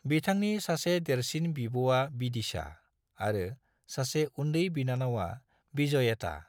बिथांनि सासे देरसिन बिब'आ बिदिशा आरो सासे उन्दै बिनानावा बिजॉयता।